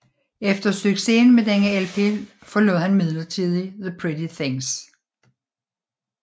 Efter succesen med denne LP forlod han midlertidigt The Pretty Things